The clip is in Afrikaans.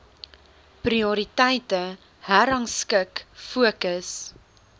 prioriteite herrangskik fokus